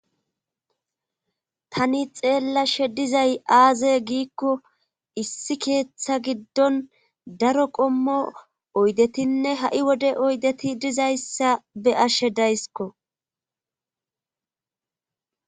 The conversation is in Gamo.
tani xeellashe dizay aaze giikko issi keeththa giddon daro qommo oydetinne ha7i wode oydeti dizayssa be ashshe dayskko